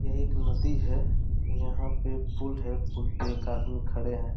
यही एक नदी है। यहाँ पे पुल है। पुल पे एक आदमी खड़े हैं।